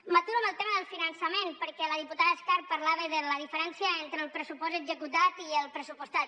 m’aturo en el tema del finançament perquè la diputada escarp parlava de la diferència entre el pressupost executat i el pressupostat